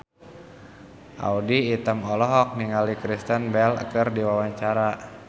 Audy Item olohok ningali Kristen Bell keur diwawancara